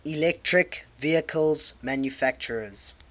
electric vehicle manufacturers